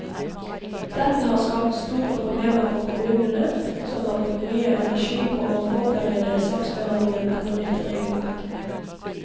Dette har skapt store problemer for kommunene, som har brukt mye energi på å forberede saksbehandling etter nytt regelverk.